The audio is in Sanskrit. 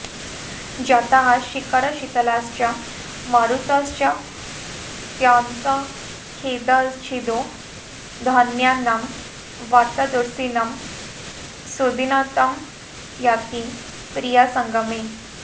जाताः शीकरशीतलाश्च मरुतश्चात्यन्तखेदच्छिदो धन्यानां बत दुर्सिनं सुदिनतां याति प्रियासङ्गमे